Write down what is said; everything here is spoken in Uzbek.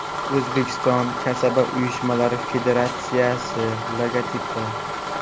O‘zbekiston kasaba uyushmalari Federatsiyasi logotipi.